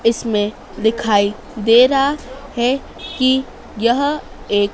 इसमें दिखाई दे रहा है कि यह एक--